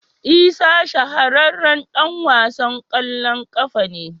Isa shahararren dan wasan kwallon kafa ne.